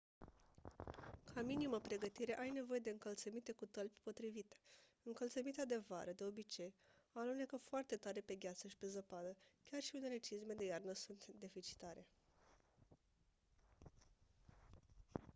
ca minimă pregătire ai nevoie de încălțăminte cu tălpi potrivite încălțămintea de vară de obicei alunecă foarte tare pe gheață și pe zăpadă chiar și unele cizme de iarnă sunt deficitare